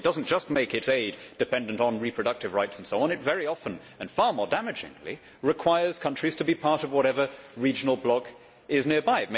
It does not just make its aid dependent on reproductive rights and so on, but it very often and far more damagingly requires countries to be part of whatever regional bloc is nearby.